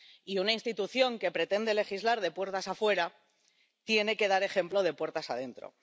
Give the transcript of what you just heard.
Y una institución que pretende legislar de puertas afuera tiene que dar ejemplo de puertas adentro.